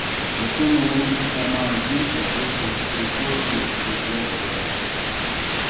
засунул руки в карманы джинсов вышел в прихожую посмотрел в зеркало